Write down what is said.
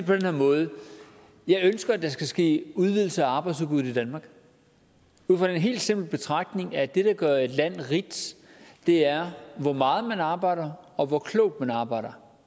på den her måde jeg ønsker at der skal ske udvidelse af arbejdsudbuddet i danmark ud fra den helt simple betragtning at det der gør et land rigt er hvor meget man arbejder og hvor klogt man arbejder